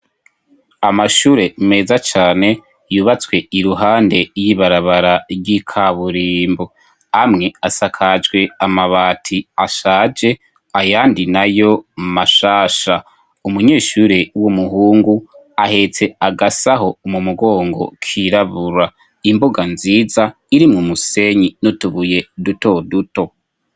Amashure meza cane yubatswe iruhande y'ibarabara ry'ikaburimbo, amwe asakajwe amabati ashaje ayandi nayo mashasha, umunyeshure w'umuhungu ahetse agasaho mu mugongo kirabura, imbuga nziza iri mu musenyi n'utubuye duto duto.